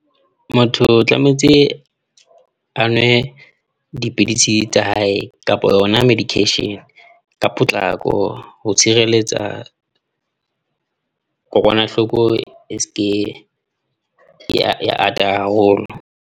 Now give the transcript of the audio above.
Motho o tlametse a nwe dipidisi tsa hae kapa yona medication ka potlako, ho tshireletsa kokwanahloko e seke ya ya ata haholo.